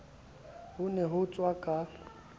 ho ne ho tsohwa ka